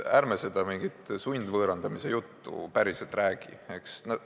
Ärme seda mingit sundvõõrandamise juttu päriselt räägime, eks.